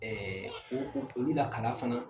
o o olu la kala fana.